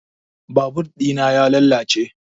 Babur ɗina ya lalace